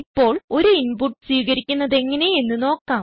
ഇപ്പോൾ ഒരു ഇൻപുട്ട് സ്വീകരിക്കുന്നതെങ്ങനെ എന്ന് നോക്കാം